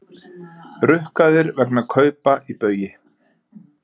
Rukkaðir vegna kaupa í Baugi